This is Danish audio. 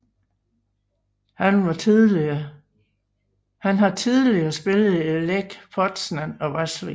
Han har tidligere spillet i Lech Poznań og Vaslui